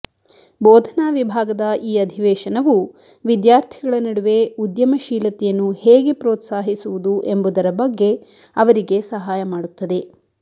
ಬೋಧನಾ ವಿಭಾಗದ ಈ ಅಧಿವೇಶನವು ವಿದ್ಯಾರ್ಥಿಗಳ ನಡುವೆ ಉದ್ಯಮಶೀಲತೆಯನ್ನು ಹೇಗೆ ಪ್ರೋತ್ಸಾಹಿಸುವುದು ಎಂಬುದರ ಬಗ್ಗೆ ಅವರಿಗೆ ಸಹಾಯ ಮಾಡುತ್ತದೆ